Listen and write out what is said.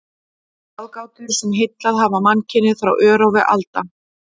Ráðgátur, sem heillað hafa mannkynið frá örófi alda.